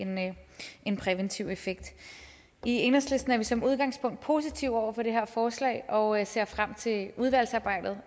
en præventiv effekt i enhedslisten er vi som udgangspunkt positive over for det her forslag og ser frem til udvalgsarbejdet